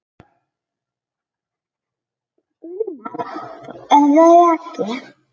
Gunnar Bragi.